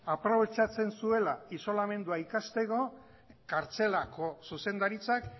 aprobetxatzen zuela isolamendua ikasteko kartzelako zuzendaritzak